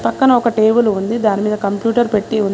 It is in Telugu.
పక్కన ఒక టేబుల్ ఉంది దాని మీద కంప్యూటర్ పెట్టి ఉంది.